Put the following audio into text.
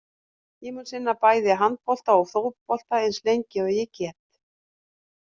Ég mun sinna bæði handbolta og fótbolta eins lengi og ég get.